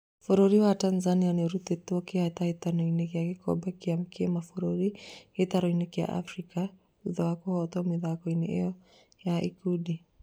Bũrũri wa Tanzania nĩũrutĩtwo hĩtahĩtano-inĩ ya gĩkombe gĩa kĩmabũrũri gĩtaro-inĩ kĩa Afrika thutha wa kũhotwo mĩthako-inĩ yotho ya ikundi